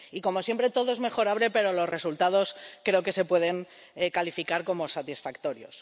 Y, como siempre, todo es mejorable, pero los resultados creo que se pueden calificar como satisfactorios.